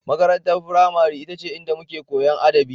Makarantar firamare ita ce inda muke Koyan adabi